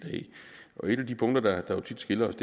af et af de punkter der tit skiller os